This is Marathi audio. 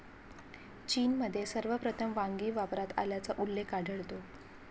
चीनमध्ये सर्वप्रथम वांगी वापरात आल्याचा उल्लेख आढळतो.